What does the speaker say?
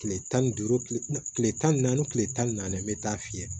Tile tan ni duuru tile tan ni naani tile tan ni naani n bɛ taa fiyɛ